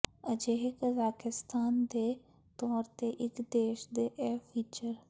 ਅਜਿਹੇ ਕਜ਼ਾਕਿਸਤਾਨ ਦੇ ਤੌਰ ਤੇ ਇੱਕ ਦੇਸ਼ ਦੇ ਇਹ ਫੀਚਰ